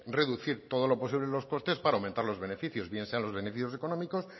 reducir todo lo posible los costes para aumentar los beneficios bien sean los beneficios económicos